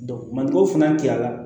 mali ko fana cayara